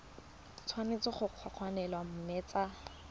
tshwanetse go kokoanngwa mme tsa